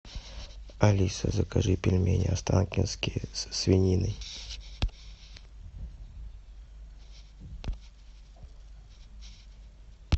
алиса закажи пельмени останкинские со свининой